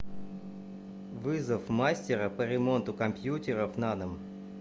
вызов мастера по ремонту компьютеров на дом